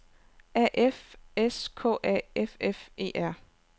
A F S K A F F E R